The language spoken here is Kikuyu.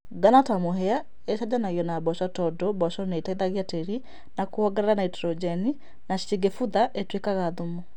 Ngano ta mũhĩa ichenjanagio na mboco, to du mboco nĩiteithagia tĩĩri na kũwongerera naitrojeni na cingĩbutha ituĩkaga thumu